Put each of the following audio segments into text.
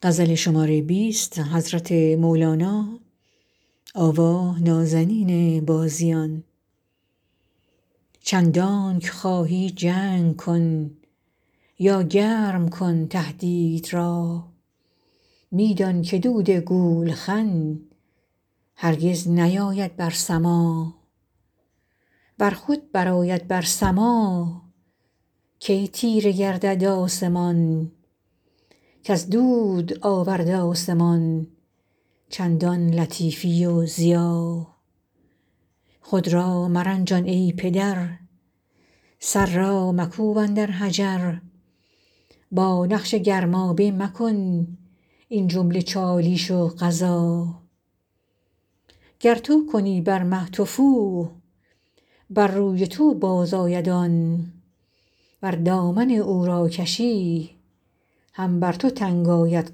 چندانکه خواهی جنگ کن یا گرم کن تهدید را می دان که دود گولخن هرگز نیاید بر سما ور خود برآید بر سما کی تیره گردد آسمان کز دود آورد آسمان چندان لطیفی و ضیا خود را مرنجان ای پدر سر را مکوب اندر حجر با نقش گرمابه مکن این جمله چالیش و غزا گر تو کنی بر مه تفو بر روی تو بازآید آن ور دامن او را کشی هم بر تو تنگ آید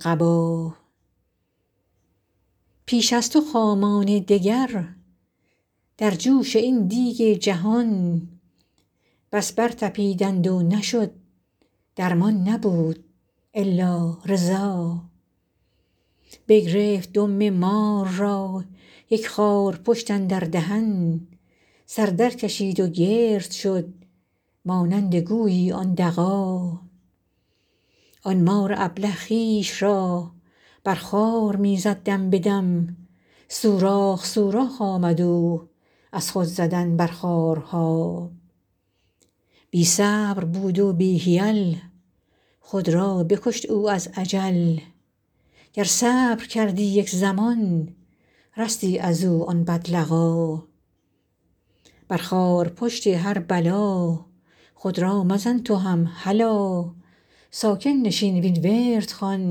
قبا پیش از تو خامان دگر در جوش این دیگ جهان بس برطپیدند و نشد درمان نبود الا رضا بگرفت دم مار را یک خارپشت اندر دهن سر درکشید و گرد شد مانند گویی آن دغا آن مار ابله خویش را بر خار می زد دم به دم سوراخ سوراخ آمد او از خود زدن بر خارها بی صبر بود و بی حیل خود را بکشت او از عجل گر صبر کردی یک زمان رستی از او آن بدلقا بر خارپشت هر بلا خود را مزن تو هم هلا ساکن نشین وین ورد خوان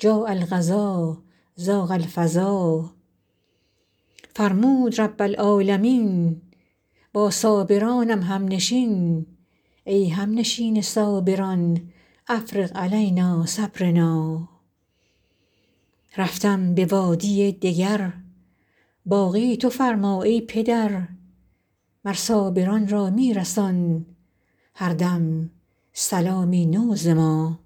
جاء القضا ضاق الفضا فرمود رب العالمین با صابرانم همنشین ای همنشین صابران افرغ علینا صبرنا رفتم به وادی دگر باقی تو فرما ای پدر مر صابران را می رسان هر دم سلامی نو ز ما